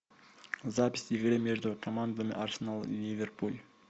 запись игры между командами арсенал и ливерпуль